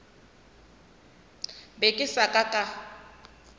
be ke sa ka ka